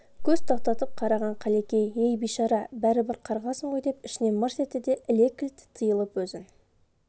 көз тоқтатып қараған қалекең ей бейшара бәрібір қарғасың ғой деп ішінен мырс етті де іле кілт тиылып өзін